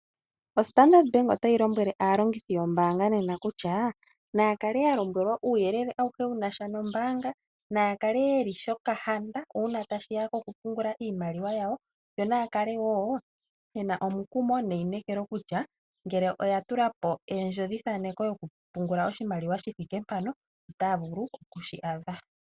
oStandard bank otayi lombwele aalongithi yombaanga nena kutya, naya kale yalombwelwa uuyele awuhe wu na sha nombaanga, naya kale yeli shokahanda uuna tashi ya kokupungula iimaliwa yawo, yo naa kale woo ye na omukumo neineekelo kutya, ngele oya tula po endjodhithaaneko yokupungula oshimaliwa shi thike mpano, otaya vulu oku shi adha.